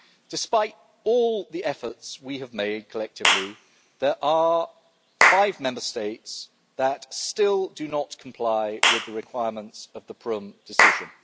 Despite all the efforts we have made collectively there are five Member States that still do not comply with the requirements of the Prüm Decision.